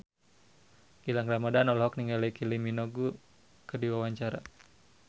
Gilang Ramadan olohok ningali Kylie Minogue keur diwawancara